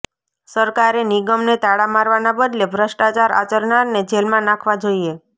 સરકારે નિગમને તાળા મારવાના બદલે ભ્રષ્ટાચાર આચરનારને જેલમાં નાખવા જોઇએ